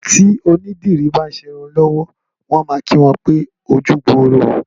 Tí onídìrí bá ń ṣerun lọ́wọ́ wọn a máa kí wọn pé ojúgbooro o